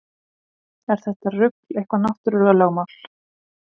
Er þetta rugl eitthvað náttúrulögmál?